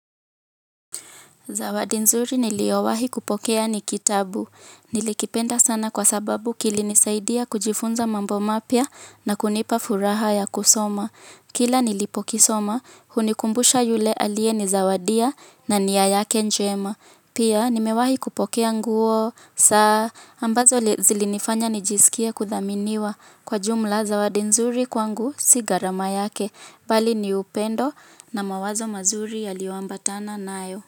Zawadi nzuri niliyowahi kupokea ni kitabu. Nilikipenda sana kwa sababu kilinisaidia kujifunza mambo mapya na kunipa furaha ya kusoma. Kila nilipokisoma, kinanikumbusha yule aliyenizawadia na nia yake njema. Pia nimewahi kupokea nguo, saa ambazo zilinifanya nijisikie kuthaminiwa. Kwa jumla, zawadi nzuri kwangu si gharama yake. Bali ni upendo na mawazo mazuri yaliyoambatana nayo.